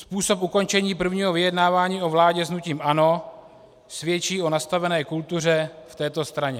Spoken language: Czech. Způsob ukončení prvního vyjednávání o vládě s hnutím ANO svědčí o nastavené kultuře v této straně.